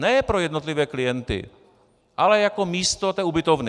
Ne pro jednotlivé klienty, ale jako místo té ubytovny.